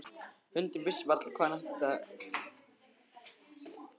Hundurinn vissi varla hvað hann ætti af sér að gera.